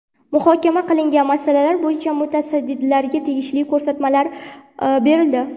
Muhokama qilingan masalalar bo‘yicha mutasaddilarga tegishli ko‘rsatmalar berildi.